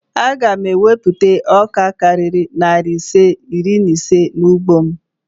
Aga m ewupụta ọka karịrị narị ise na iri ise n'ugbo m